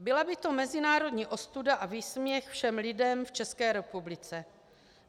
Byla by to mezinárodní ostuda a výsměch všem lidem v České republice.